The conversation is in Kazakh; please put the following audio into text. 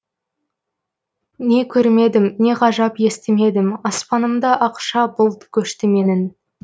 не көрмедім не ғажап естімедім аспанымда ақша бұлт көшті менің